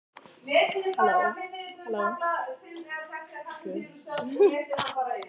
Símtólið var níðþungt í höndunum á mér.